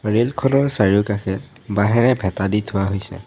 Rail খনৰ চাৰিওকাষে বাঁহেৰে ভেঁটা দি থোৱা হৈছে।